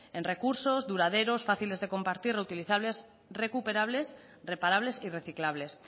en recursos duraderos fáciles de compartir utilizables recuperables reparables y reciclables